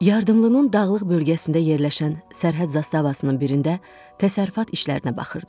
Yardımlının dağlıq bölgəsində yerləşən sərhəd zastavasının birində təsərrüfat işlərinə baxırdı.